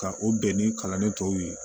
Ka o bɛn ni kalanden tɔw ye